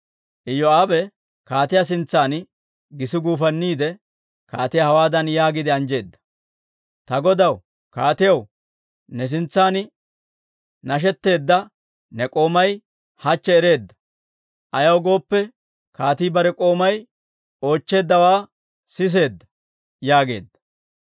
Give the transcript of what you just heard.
Iyoo'aabe kaatiyaa sintsan gisi guufanniide, kaatiyaa hawaadan yaagiide anjjeedda; «Ta godaw kaatiyaw, ne sintsan nashshetteeddawaa ne k'oomay hachche ereedda; ayaw gooppe, kaatii bare k'oomay oochcheeddawaa siseedda» yaageedda.